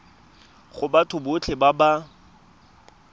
go batho botlhe ba ba